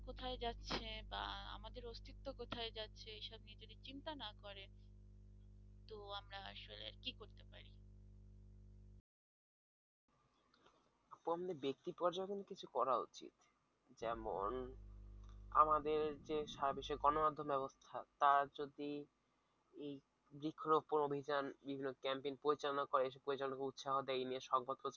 ব্যাক্তি পর্যন্ত কিছু করা উচিত যেমন আমাদের যে সাব শেখানোর গণমাধ্যম ব্যাবস্থা তা যদি এই বৃক্ষ রোপন অভিযান এইগুলো campaign পরিচালনা করে সে পরিচালনা কে উৎসাহ দেয় এই নিয়ে সংবাদ প্রচার